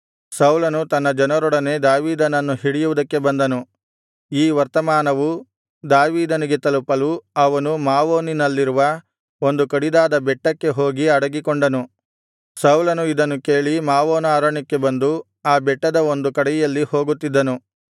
ಸೌಲನು ತನ್ನ ಜನರೊಡನೆ ದಾವೀದನನ್ನು ಹಿಡಿಯುವುದಕ್ಕೆ ಬಂದನು ಈ ವರ್ತಮಾನವು ದಾವೀದನಿಗೆ ತಲುಪಲು ಅವನು ಮಾವೋನಿನಲ್ಲಿರುವ ಒಂದು ಕಡಿದಾದ ಬೆಟ್ಟಕ್ಕೆ ಹೋಗಿ ಅಡಗಿಕೊಂಡನು ಸೌಲನು ಇದನ್ನು ಕೇಳಿ ಮಾವೋನ ಅರಣ್ಯಕ್ಕೆ ಬಂದು ಆ ಬೆಟ್ಟದ ಒಂದು ಕಡೆಯಲ್ಲಿ ಹೋಗುತ್ತಿದ್ದನು